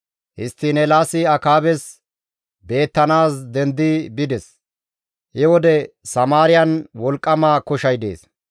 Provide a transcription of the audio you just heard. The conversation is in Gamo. Histtiin Eelaasi Akaabes beettanaas dendi bides. He wode Samaariyan wolqqama koshay dees.